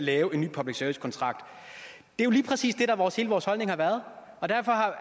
lave en ny public service kontrakt det er lige præcis det vores holdning har været og det